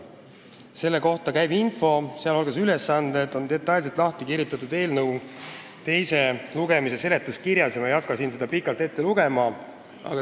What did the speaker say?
Selle kohta käiv info, sh ülesanded, on detailselt lahti kirjutatud eelnõu teise lugemise seletuskirjas ja ma ei hakka siin seda pikalt ette lugema.